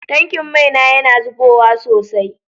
Tankin mai na yana zubowa sosai.